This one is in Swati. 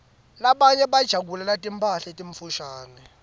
labanye bajabulela timphala letimfushane